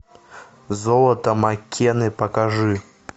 золото маккенны покажи